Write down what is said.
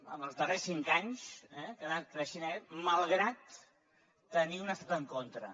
en els darrers cinc anys eh que ha anat creixent malgrat tenir un estat en contra